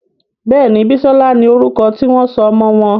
Béèni Bisola ní orúko tí wón sọ ọmọ wón.